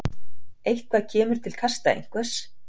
Eitthvað kemur til kasta einhvers